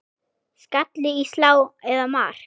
Skalli í slá eða mark?